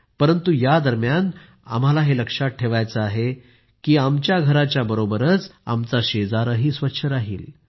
परंतु या दरम्यान आम्हाला हे लक्षात ठेवायचं आहे की आमच्या घराच्या बरोबरच आमचा शेजारही स्वच्छ राहिल